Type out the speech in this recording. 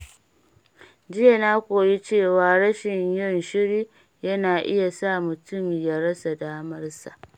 Jiya na koyi cewa rashin yin shiri yana iya sa mutum ya rasa damarsa.